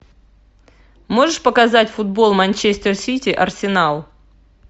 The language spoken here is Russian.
можешь показать футбол манчестер сити арсенал